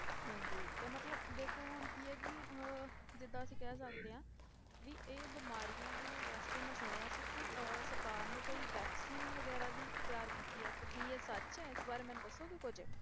ਹਾਂਜੀ ਤੇ ਮਤਲਬ ਦੇਖੋ ਹੁਣ ਕੀ ਹੈ ਕਿ ਅਹ ਜਿੱਦਾਂ ਅਸੀਂ ਕਹਿ ਸਕਦੇ ਹਾਂ ਵੀ ਇਹ ਬਿਮਾਰੀਆਂ ਦੇ ਵਾਸਤੇ ਮੈਂ ਸੁਣਿਆ ਸੀ ਕਿ ਅਹ ਸਰਕਾਰ ਨੇ ਕੋਈ vaccine ਵਗ਼ੈਰਾ ਵੀ ਤਿਆਰ ਕੀਤੀ ਹੈ, ਤੇ ਕੀ ਇਹ ਸੱਚ ਹੈ ਇਸ ਬਾਰੇ ਮੈਨੂੰ ਦੱਸੋਗੇ ਕੁੱਝ?